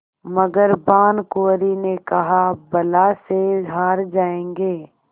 मगर भानकुँवरि ने कहाबला से हार जाऍंगे